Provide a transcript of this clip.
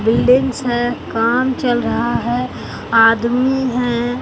ढेर सारा काम चल रहा है आदमी हैं।